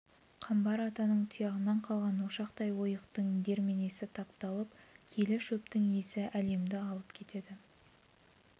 қамбар атаның тұяғынан қалған ошақтай ойықтың дерменесі тапталып киелі шөптің исі әлемді алып кетеді